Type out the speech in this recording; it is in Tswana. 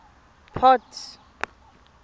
port